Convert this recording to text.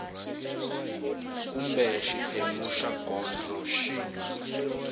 kumbe xiphemu xa gondzo xi